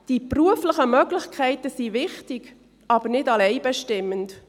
Die beruflichen Möglichkeiten sind wichtig, aber nicht allein bestimmend.